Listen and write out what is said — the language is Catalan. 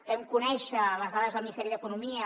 vam conèixer les dades del ministeri d’economia